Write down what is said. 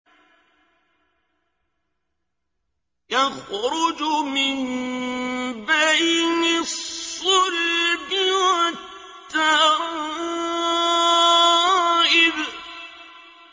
يَخْرُجُ مِن بَيْنِ الصُّلْبِ وَالتَّرَائِبِ